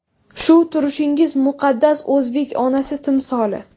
Shu turishingiz muqaddas o‘zbek onasi timsoli.